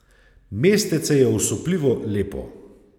Mestece je osupljivo lepo.